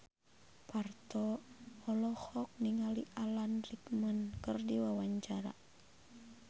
Parto olohok ningali Alan Rickman keur diwawancara